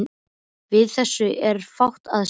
Við þessu er fátt að segja.